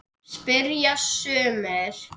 spyrja sumir.